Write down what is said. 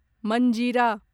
मंजीरा